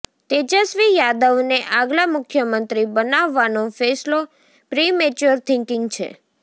તેજસ્વી યાદવને આગલા મુખ્યમંત્રી બનાવવાનો ફેસલો પ્રીમેચ્યોર થીંકીંગ છે